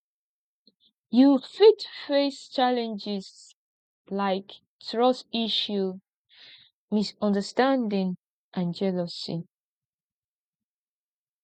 you fit face challenges like trust issues misunderstanding and jealousy